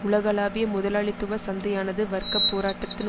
உலகளாவிய முதலாளித்துவ சந்தையானது வர்க்க போராட்டத்தின்